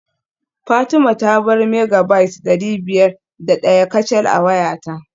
Fatima ta bar Megabyte dari biyar da daya kacal a wayata